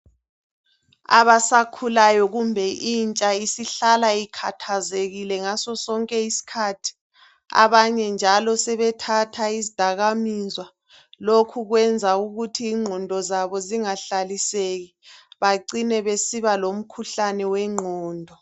Abasakhulayo kumbe intsha isihlala ikhathazekile ngaso sonke isikhathi. Abanye njalo sebethatha izidakamizwa. Lokhu njalo kubenza bengahlaliseki. Bacine besiba lomkhuhlane wengqondo.